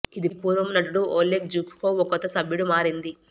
ఇది పూర్వము నటుడు ఒలేగ్ జ్హుకోవ్ ఒక కొత్త సభ్యుడు మారింది